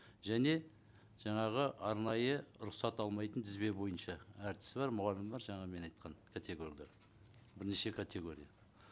және жаңағы арнайы рұқсат алмайтын тізбе бойынша әртісі бар мұғалімі бар жаңа мен айтқан категориялар бірнеше категория